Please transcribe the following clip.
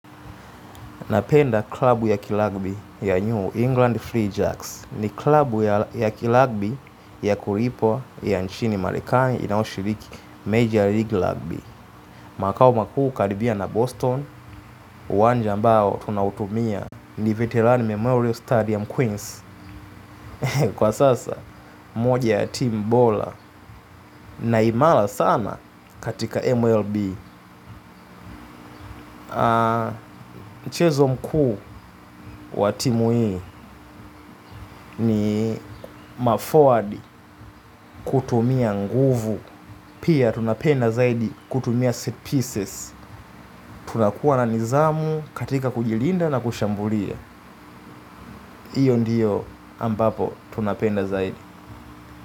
Napenda klabu ya kilagbi ya New England Free Jacks. Ni klabu ya kilagbi ya kulipwa ya nchini marekani inayoshiriki Major League Rugby. Makao makuu karibia na Boston uwanja ambao tunautumia ni veterani Memorial Stadium Queens. Kwa sasa moja ya team bola. Na imala sana katika MLB mchezo mkuu wa timu hii ni maforward kutumia nguvu. Pia tunapenda zaidi kutumia set pieces. Tunakuwa na nizamu katika kujilinda na kushambulia. Iyo ndiyo ambapo tunapenda zaidi.